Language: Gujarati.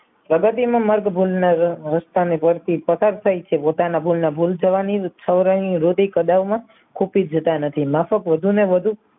પ્રગતિને મર્દ ભૂમિમાં હસ્તાની તટસ્થ થાય છે. પોતાના ભૂલના ભૂલ થવાની ખૂટી જતા નથી માફક વધુ ને વધુ